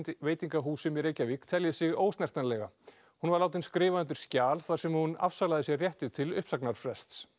veitingahúsum í Reykjavík telji sig hún var látin skrifa undir skjal þar sem hún afsalaði sér rétti til uppsagnarfrests